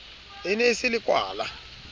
e ne e se lekwala